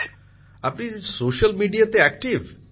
প্রধানমন্ত্রী জীঃ আপনি স্যোশাল মিডিয়াতে আক্টিভ